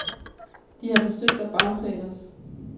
De har forsøgt at bagtale os.